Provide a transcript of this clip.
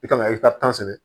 I kan ka i ka tan sɛbɛn